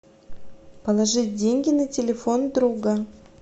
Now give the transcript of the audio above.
положить деньги на телефон друга